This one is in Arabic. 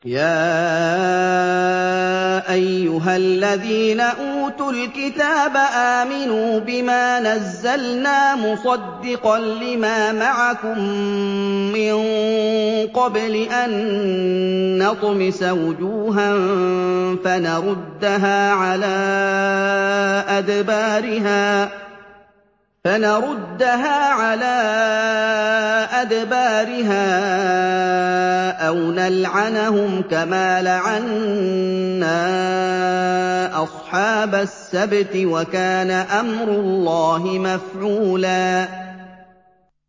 يَا أَيُّهَا الَّذِينَ أُوتُوا الْكِتَابَ آمِنُوا بِمَا نَزَّلْنَا مُصَدِّقًا لِّمَا مَعَكُم مِّن قَبْلِ أَن نَّطْمِسَ وُجُوهًا فَنَرُدَّهَا عَلَىٰ أَدْبَارِهَا أَوْ نَلْعَنَهُمْ كَمَا لَعَنَّا أَصْحَابَ السَّبْتِ ۚ وَكَانَ أَمْرُ اللَّهِ مَفْعُولًا